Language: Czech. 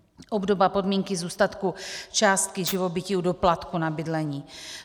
obdoba podmínky zůstatku částky živobytí u doplatku na bydlení.